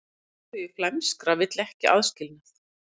Leiðtogi flæmskra vill ekki aðskilnað